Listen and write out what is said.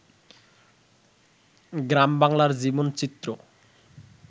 গ্রামবাংলার জীবনচিত্র